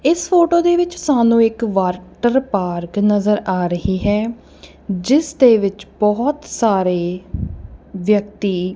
ਇਸ ਫੋਟੋ ਦੇ ਵਿੱਚ ਸਾਨੂੰ ਇੱਕ ਵਾਟਰਪਾਰਕ ਨਜ਼ਰ ਆ ਰਹੀ ਹੈ ਜਿਸ ਦੇ ਵਿੱਚ ਬਹੁਤ ਸਾਰੇ ਵਿਅਕਤੀ --